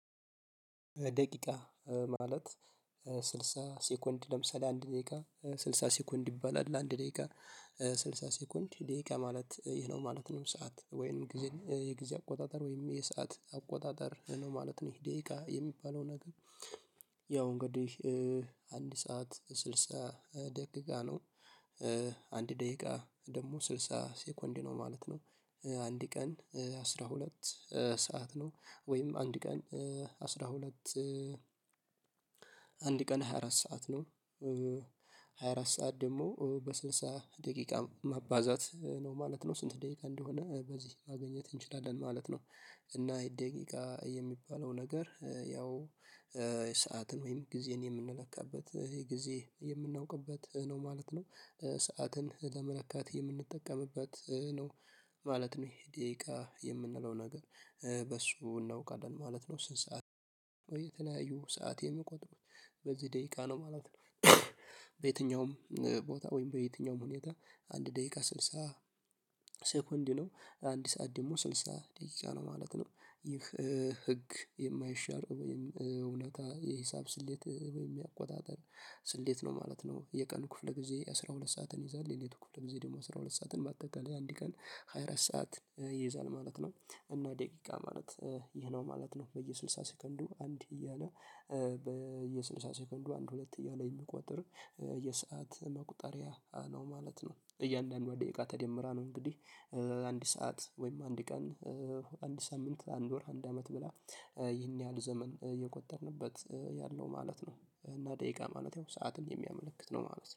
ደቂቃ ማለት ስድሳ ሴኮንድ ለምሳሌ አንድ ደቂቃ ስልሳ ሰኮንድ ይባላል። ለአንድ ደቂቃ ስልሳ ሰኮንድ ደቂቃ ማለት ይሄ ነው ማለት ይህ ነው። ሰዓት ወይንም የጊዜ አቆጣጠር ወይም የሰዓት አቆጣጠር ነው ማለት ነው ይሄ ደቂቃ የሚባለው ነገር ያው እንግዲህ አንድ ሰዓት ስልሳ ደቂቃ ነው። አንድ ደቂቃ ደግሞ ስልሳ ሴኮንድ ነው ማለት ነው። አንድ ቀን አስራ ሁለት ሰዓት ነው ወይም አንድ ቀን አስራ ሁለት አንድ ቀን ሃያ አራት ሰዓት ነው። ሃያ አራት ሰዓት ደግሞ በስድሳ ደቂቃ ማባዛት ነው ማለት ነው ስንት ደቂቃ እንደሆነ በዚህ ማግኘት እንችላለን ማለት ነው እና ይሄ ደቂቃ የሚባለው ነገር ያው ሰዓትን ወይም ጊዜን የምንለካበት ጊዜ የምናውቅበት ነው ማለት ነው። ሰዓትን ለመለካት የምንጠቀምበት ነው። ማለት ነው ይሄ ደቂቃ የምንለው ነገር በሱ እናውቃለን ማለት ነው ስንት ሰዓት ሰዓት የሚቆጥሩ በዚህ ደቂቃ ነው ማለት ነው። በየትኛውም ቦታ ወይም በየትኛውም ሁኔታ አንድ ደቂቃ ስልሳ ሴኮንድ ነው አንድ ሰዓት ደግሞ ስልሳ ደቂቃ ነው ማለት ነው ይህ ህግ የማይሻር ወይም እውነት የሂሳብ ስሌት ወይም የአቆጣጠር ስሌት ነው ማለት ነው። የቀን ክፍለ ጊዜ አስራ ሁለት ሰዓትን ይይዛል። የሌሊቱ ክፍል ጊዜ ደግሞ አስራ ሁለት ሰዓትን በአጠቃላይ አንድ ቀን ሃያ አራት ሰዓት ይይዛል ማለት ነው እና ደቂቃ ማለት ይሄ ነው ማለት ነው በየስልሳ ሴከንዱ አንድ እያለ በየስልሳ ሴከንዱ አንድ ሁለት እያለ የሚቆጥር የሰዓት መቁጠሪያ ነው ማለት ነው እያንዳንዷ ደቂቃ ተደምራ ነው እንግዲህ አንድ ሰዓት ወይም አንድ ቀን፣ አንድ ሳምንት፣ አንድ ወር፣ አንድ አመት ብላ ይህን ያህል ዘመን የቆጠርንበት ያለው ማለት ነው እና ደቂቃ ማለት ያው ሰዓትን የሚያመለክት ነው ማለት ነው።